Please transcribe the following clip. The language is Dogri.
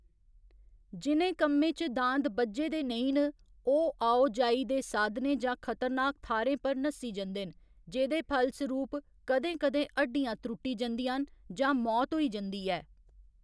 जि'नें कम्में च दांद बज्झे दे नेईं न, ओह्‌‌ आओ जाई दे साधनें जां खतरनाक थाह्‌रें पर नस्सी जंदे न, जेह्‌दे फलसरूप कदें कदें हड्डियाँ त्रुट्टी जंदियां न जां मौत होई जंदी ऐ।